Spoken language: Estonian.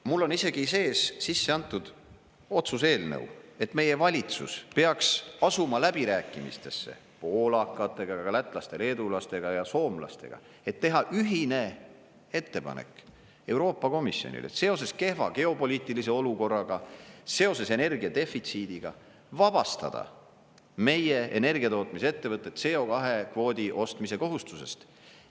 Mul on isegi sees, sisse antud otsuse eelnõu, et meie valitsus peaks asuma läbirääkimistesse poolakatega, ka lätlaste, leedulaste ja soomlastega, et teha ühine ettepanek Euroopa Komisjonile, et seoses kehva geopoliitilise olukorraga, seoses energia defitsiidiga vabastada meie energiatootmisettevõtted CO2 kvoodi ostmise kohustusest.